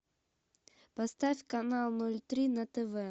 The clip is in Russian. поставь канал ноль три на тв